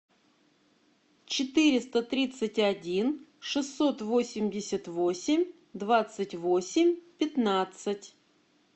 четыреста тридцать один шестьсот восемьдесят восемь двадцать восемь пятнадцать